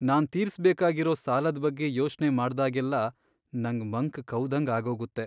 ನಾನ್ ತೀರ್ಸ್ ಬೇಕಾಗಿರೋ ಸಾಲದ್ ಬಗ್ಗೆ ಯೋಚ್ನೆ ಮಾಡ್ದಾಗೆಲ್ಲ ನಂಗ್ ಮಂಕ್ ಕವ್ದಂಗ್ ಆಗೋಗತ್ತೆ.